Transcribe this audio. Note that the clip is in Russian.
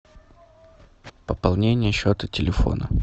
пополнение счета телефона